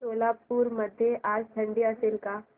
सोलापूर मध्ये आज थंडी असेल का